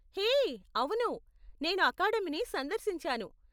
హే! అవును, నేను అకాడమీని సందర్శించాను.